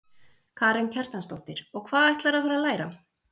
Karen Kjartansdóttir: Og hvað ætlarðu að fara að læra?